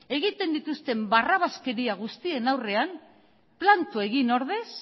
egiten dituzten barrabaskeria guztien aurrean planto egin ordez